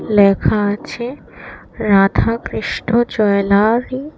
লেখা আছে রাধাকৃষ্ণ জয়েলারি ।